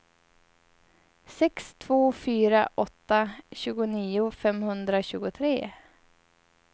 sex två fyra åtta tjugonio femhundratjugotre